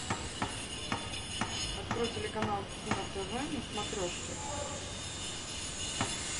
открой телеканал кино тв на смотрешке